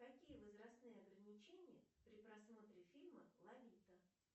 какие возрастные ограничения при просмотре фильма лолита